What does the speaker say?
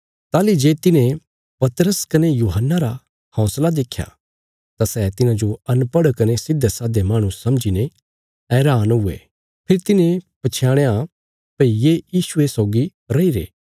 ताहली जे तिन्हें पतरस कने यूहन्ना रा हौंसला देख्या तां सै तिन्हांजो अनपढ़ कने सिधेसाधे माहणु समझीने हैरान हुये फेरी तिन्हें पछयाणया भई ये यीशुये सौगी रईरे